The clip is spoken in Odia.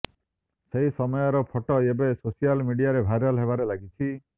ସେହି ସମୟର ଫଟୋ ଏବେ ସୋସିଆଲ ମିଡିଆରେ ଭାଇରାଲ ହେବାରେ ଲାଗିଛି